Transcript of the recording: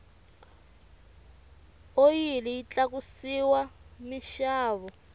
oyili yi tlakusile minxavo